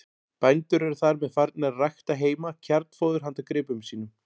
Bændur eru þar með farnir að rækta heima kjarnfóður handa gripum sínum.